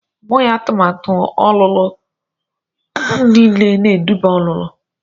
Ọ bụghị atụmatụ ọlụlụ niile na-eduba ọlụlụ.